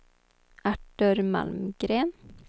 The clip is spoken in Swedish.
Artur Malmgren